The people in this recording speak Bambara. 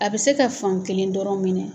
A bɛ se ka fan kelen dɔrɔn minɛ